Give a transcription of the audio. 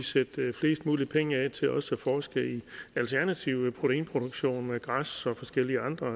sætte flest mulig penge af til også at forske i alternativ proteinproduktion med græs og forskellige andre